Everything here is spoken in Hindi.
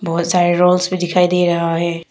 बहुत सारे रोल्स भी दिखाई दे रहा है।